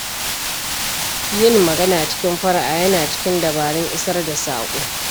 Yin magana cikin fara'a yana cikin dabarun isar da saƙo.